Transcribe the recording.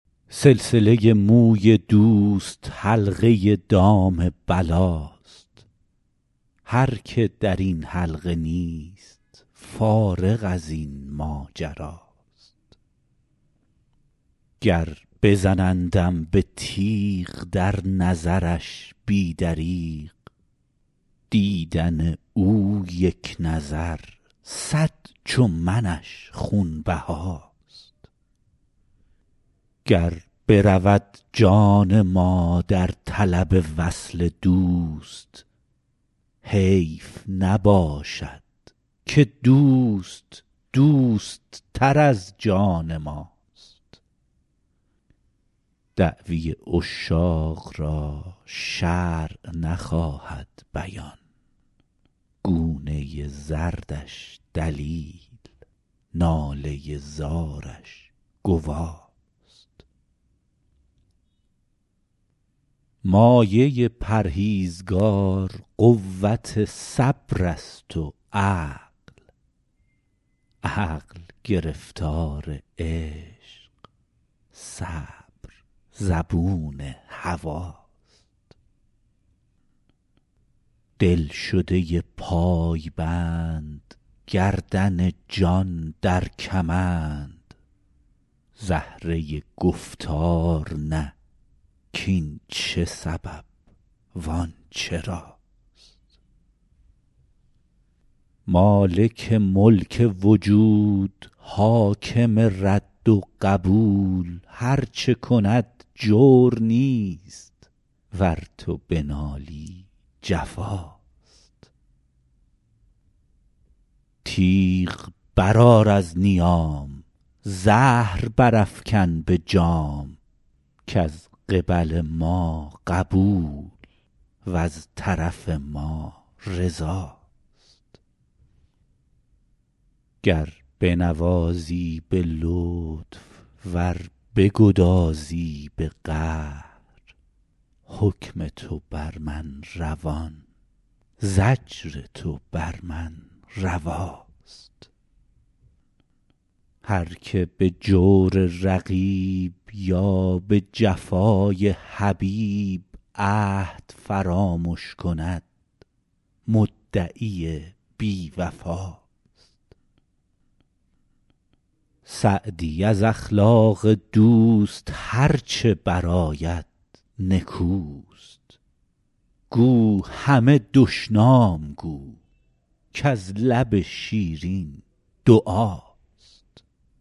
سلسله موی دوست حلقه دام بلاست هر که در این حلقه نیست فارغ از این ماجراست گر بزنندم به تیغ در نظرش بی دریغ دیدن او یک نظر صد چو منش خونبهاست گر برود جان ما در طلب وصل دوست حیف نباشد که دوست دوست تر از جان ماست دعوی عشاق را شرع نخواهد بیان گونه زردش دلیل ناله زارش گواست مایه پرهیزگار قوت صبر است و عقل عقل گرفتار عشق صبر زبون هواست دلشده پایبند گردن جان در کمند زهره گفتار نه کاین چه سبب وان چراست مالک ملک وجود حاکم رد و قبول هر چه کند جور نیست ور تو بنالی جفاست تیغ برآر از نیام زهر برافکن به جام کز قبل ما قبول وز طرف ما رضاست گر بنوازی به لطف ور بگدازی به قهر حکم تو بر من روان زجر تو بر من رواست هر که به جور رقیب یا به جفای حبیب عهد فرامش کند مدعی بی وفاست سعدی از اخلاق دوست هر چه برآید نکوست گو همه دشنام گو کز لب شیرین دعاست